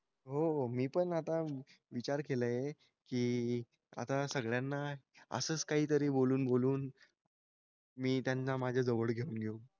हो हो. मी पण आता विचार केलाय की आता सगळ्यांना असंच काहीतरी बोलून बोलून मी त्यांना माझ्या जवळ घेऊन घेऊ.